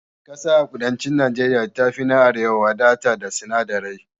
Ƙasa a kudancin Najeriya ta fi na arewa wadata da sinadirai